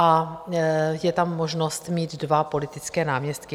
A je tam možnost mít dva politické náměstky.